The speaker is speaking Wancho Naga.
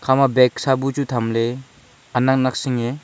kha ma bak sa bu chu tham le anak nak singe.